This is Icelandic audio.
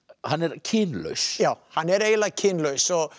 hann er kynlaus já hann er eiginlega kynlaus og